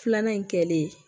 Filanan in kɛlen